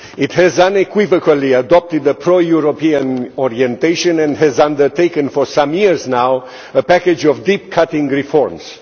It has unequivocally adopted a pro European orientation and has undertaken for some years now a package of deep cutting reforms.